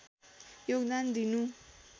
योगदान दिनु